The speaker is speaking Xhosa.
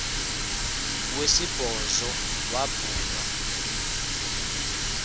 wesibhozo wabhu bha